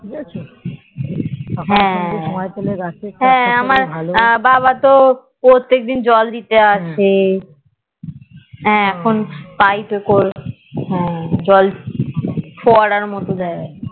হা হা আমার বাবাতো প্রত্যেক দিন জল দিয়ে হা এখন পাই তো কাল জল ফোয়ারার মতো দিয়ে